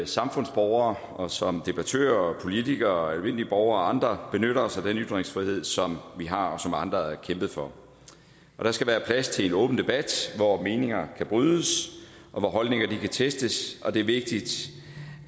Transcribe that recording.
samfundsborgere og som debattører politikere almindelige borgere og andre benytter os af den ytringsfrihed som vi har og som andre har kæmpet for der skal være plads til en åben debat hvor meninger kan brydes og hvor holdninger kan testes og det er vigtigt